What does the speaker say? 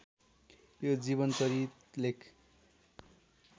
यो जीवनचरित लेख